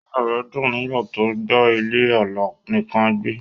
Inú rè dun nígbà tó gba ilé-alá nìkàn gbé